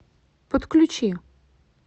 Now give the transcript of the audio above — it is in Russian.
подключи